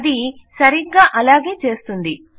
అది సరిగ్గా అలాగే చేస్తుంది